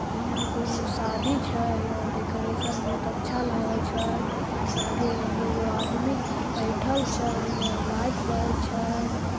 हीया कोनो शादी छै हीया डेकोरेशन बहुत अच्छा लागय छै आगे में दू गो आदमी बैठएल छै हीया लाइट बरय छै।